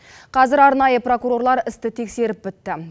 қазір арнайы прокурорлар істі тексеріп бітті